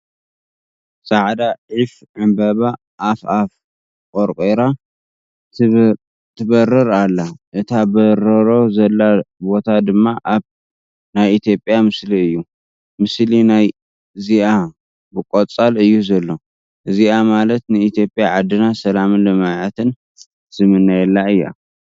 ፃዕዳ ዒፍ ዕምበባ ኣፍ ኣፋ ቐርቂራ ትበርር ኣላ እት በርሮ ዘላ ቦታ ድማ ኣብ ናይ ኢ/ያ ምስሊ እዩ .፡ ምስሊ ናይ ዚ/ያ ብቆፃል እዩ ዘሎ ፡ እዚ ማለት ን ኢ/ያ ዓድና ሰላምን ልምዓትን ንምነየላ ።